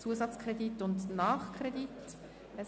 Zusatzkredit und Nachkredit».